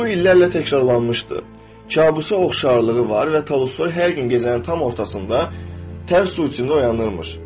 Yuxu illərlə təkrarlanmışdı, kabusa oxşarlığı var və Tolstoy hər gün gecənin tam ortasında tərs su içində oyanırmış.